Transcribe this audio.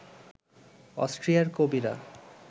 অস্ট্রিয়ার কবিরা